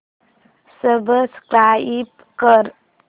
subscribe कर